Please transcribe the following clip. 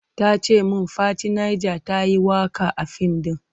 Ta ce min Fati Niger ta yi waka a fim ɗin.